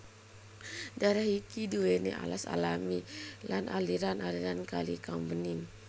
Daerah iki duweni alas alami lan aliran aliran kali kang bening